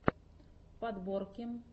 подборки